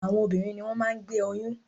Àwọn obìnrin ni wọ́n máa ń gbé oyún.